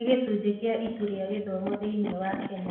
Nĩ gĩcunjĩ kĩa Ituu rĩa Gĩthomo thĩinĩ wa Kenya.